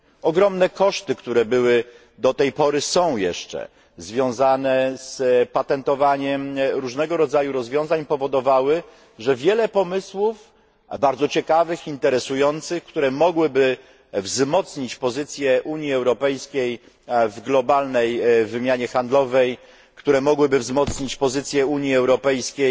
Ogromne koszty, które były i do tej pory są jeszcze związane z patentowaniem różnego rodzaju rozwiązań powodowały, że wiele pomysłów bardzo ciekawych, interesujących, które mogłyby wzmocnić pozycję Unii Europejskiej w globalnej wymianie handlowej, które mogłyby wzmocnić pozycję Unii Europejskiej